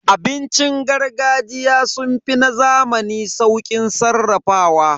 Abincin gargajiya sun fi na zamani sauƙin sarrafawa.